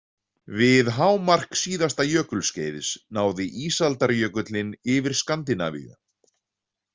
Við hámark síðasta jökulskeiðs náði ísaldarjökullinn yfir Skandinavíu.